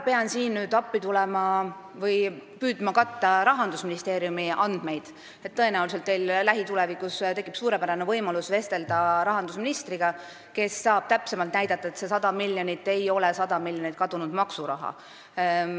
Paraku ma pean siin püüdma katta Rahandusministeeriumi andmeid, tõenäoliselt teil lähitulevikus tekib suurepärane võimalus vestelda rahandusministriga, kes saab täpsemalt näidata, et see 100 miljonit ei ole 100 miljonit kadunud maksuraha.